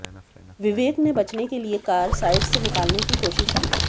विवेक ने बचने के लिए कार साइड से निकाले की कोशिश की